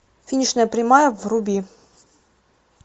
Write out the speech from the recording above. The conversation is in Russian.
финишная прямая вруби